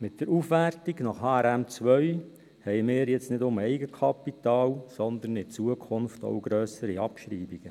Mit der Aufwertung nach HRM2 haben wir nun nicht nur Eigenkapital, sondern in der Zukunft auch grössere Abschreibungen.